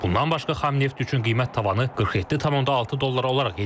Bundan başqa xam neft üçün qiymət tavanı 47,6 dollar olaraq yenilənib.